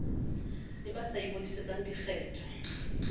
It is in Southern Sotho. le ba sa ingodisetseng dikgetho